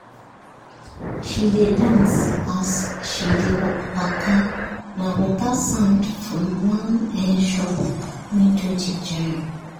she dey dance as she dey waka na better sound from one um shop window ginger am.